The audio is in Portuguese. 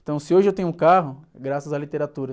Então, se hoje eu tenho um carro, é graças à literatura.